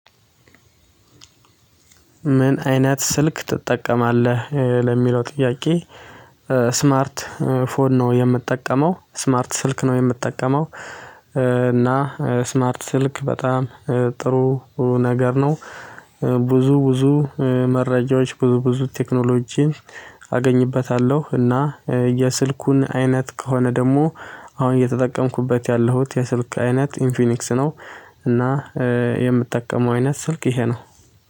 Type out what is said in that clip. ምን አይነት ስልክ ትጠቀማለህ ለሚለው ጥያቄ? ስማርት ፎን ነው የምጠቀመው ስማርት ስልክ ነው የምጠቀመው። እና ስማርት ስልክ በጣም ጥሩ ነገር ነው። ብዙ ብዙ መረጃዎች ብዙ ብዙ ቴክኖሎጂን አገኝበታለሁ። እና የስልኩን አይነት ከሆነ ደግሞ አሁን እየተጠቀምኩበት ያለሁት የስልክ አይነት ኢንፊኒክስ ነው። እና የምጠቀመው አይነት ስልክ ይሄ ነው